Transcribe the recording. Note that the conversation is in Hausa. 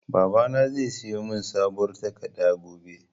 Babana zai siyo mun sabuwar takarda gobe